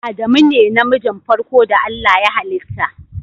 Adamu ne na mijin farko da Allah ya hallita.